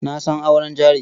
Na san auren jari.